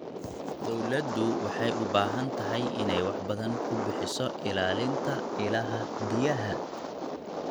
Dawladdu waxay u baahan tahay inay wax badan ku bixiso ilaalinta ilaha biyaha.